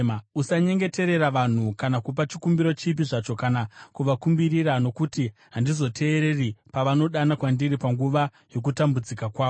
“Usanyengeterera vanhu kana kupa chikumbiro chipi zvacho kana kuvakumbirira, nokuti handizoteereri pavanodana kwandiri panguva yokutambudzika kwavo.